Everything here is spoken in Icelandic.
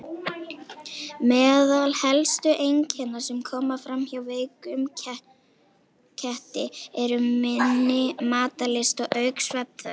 Meðal helstu einkenna sem koma fram hjá veikum ketti eru minni matarlyst og aukin svefnþörf.